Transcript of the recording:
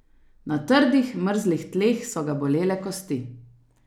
Na trdih, mrzlih tleh so ga bolele kosti.